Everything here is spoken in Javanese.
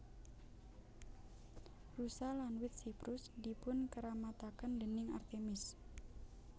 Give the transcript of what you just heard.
Rusa lan wit siprus dipunkeramataken déning Artemis